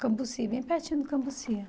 Cambuci, bem pertinho do Cambuci.